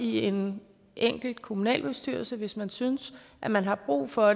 i en enkelt kommunalbestyrelse hvis man synes at man har brug for